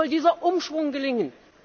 Wie soll dieser Umschwung gelingen?